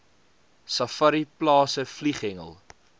safari plase vlieghengel